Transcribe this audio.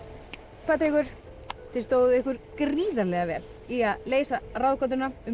Patrekur þið stóðuð ykkur gríðarlega vel í að leysa ráðgátuna um